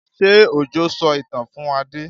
Ṣé Òjó sọ ìtàn fún Adé?